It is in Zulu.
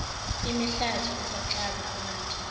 imihlati ukugxaza amathe